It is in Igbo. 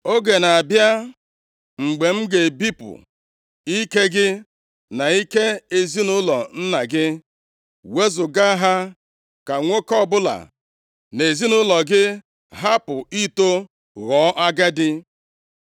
Oge na-abịa mgbe m ga-ebipụ ike gị na ike ezinaụlọ nna gị, wezuga ha ka nwoke ọbụla nʼezinaụlọ gị hapụ ito ghọọ agadi.